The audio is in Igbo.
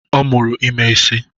Ọ mụrụ ime isị